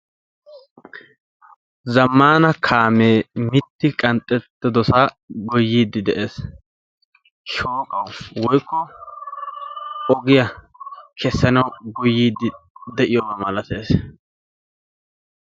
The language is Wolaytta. zamaana kaamee miti qanxetidosaa goyiidi de'ees. shooqaa woykko ogiya kesanawu goyiidi de'iyaba malatees.